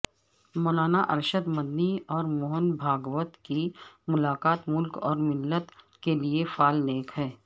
مولانا ارشد مدنی اور موہن بھاگوت کی ملاقات ملک و ملت کیلئے فال نیک ہے